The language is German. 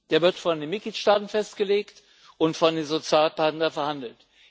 der wird von den Mitgliedstaaten festgelegt und von den Sozialpartnern verhandelt.